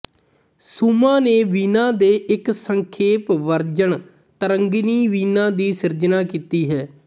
ਸੁਮਾ ਨੇ ਵੀਣਾ ਦੇ ਇੱਕ ਸੰਖੇਪ ਵਰਜਨ ਤਰੰਗਿਨੀ ਵੀਣਾ ਦੀ ਸਿਰਜਨਾ ਕੀਤੀ ਹੈ